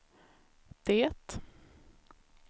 det